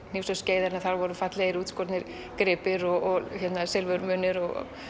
hnífs og skeiðar þar voru fallegir útskornir gripir og silfurmunir og